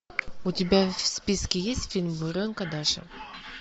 у тебя в списке есть фильм буренка даша